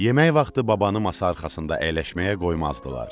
Yemək vaxtı babanı masa arxasında əyləşməyə qoymazdılar.